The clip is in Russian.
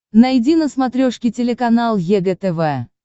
найди на смотрешке телеканал егэ тв